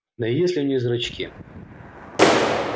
да и есть ли у них зрачки